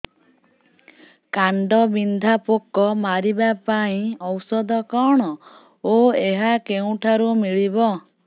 କାଣ୍ଡବିନ୍ଧା ପୋକ ମାରିବା ପାଇଁ ଔଷଧ କଣ ଓ ଏହା କେଉଁଠାରୁ ମିଳିବ